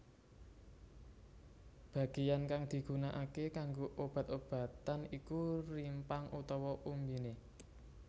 Bagean kang digunakake kanggo obat obatan iku rimpang utawa umbiné